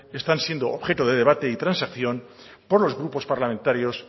están siendo objeto de debate y transacción por los grupos parlamentarios